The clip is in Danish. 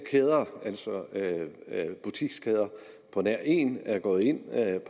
butikskæder på nær én er gået ind